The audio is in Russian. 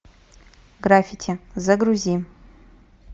граффити загрузи